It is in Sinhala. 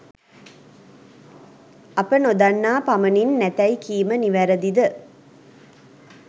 අප නොදන්නා පමණින් නැතැයි කීම නිවැරදිද?